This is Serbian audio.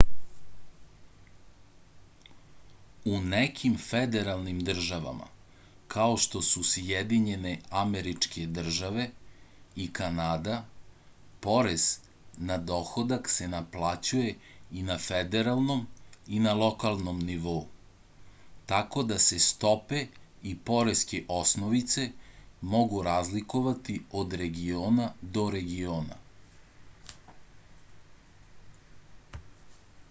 u nekim federalnim državama kao što su sjedinjene američke države i kanada porez na dohodak se naplaćuje i na federalnom i na lokalnom nivou tako da se stope i poreske osnovice mogu razlikovati od regiona do regiona